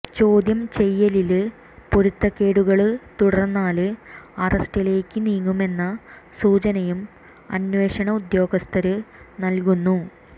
ചോദ്യം ചെയ്യലില് പൊരുത്തക്കേടുകള് തുടര്ന്നാല് അറസ്റ്റിലേക്ക് നീങ്ങുമെന്ന സൂചനയും അന്വേഷണ ഉദ്യോഗസ്ഥര് നല്കുന്നു